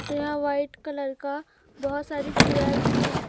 र यहां white colour का बहोत सारी चेयर भी है।